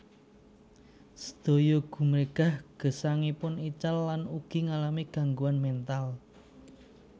Sedaya gumregah gesangipun ical lan ugi ngalami gangguan mental